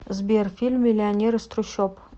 сбер фильм миллионер из трущоб